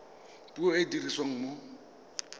puo e e dirisiwang mo